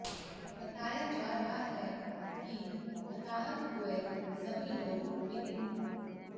बताया जा रहा है कि हताहत हुए सभी लोग मिनी